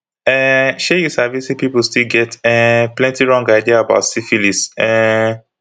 um she you sabisay people still get um plenty wrong idea about syphilis um